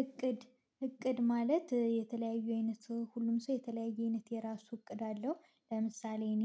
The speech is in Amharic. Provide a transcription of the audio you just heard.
እቅድ እቅድ ማለት የተለያዩ አይነት ሰው ሁሉም ሰው የተለያየ አይነት የራሱ እቅድ አለው ለምሳሌ እኔ